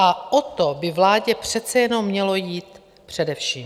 A o to by vládě přece jenom mělo jít především.